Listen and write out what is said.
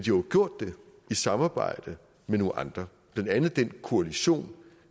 jo gjort det i samarbejde med nogle andre blandt andet den koalition